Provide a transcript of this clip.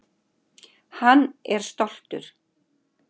Hann er stoltur.